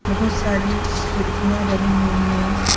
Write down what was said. बहोत सारी खिड़कियां बनी हुई हैं ।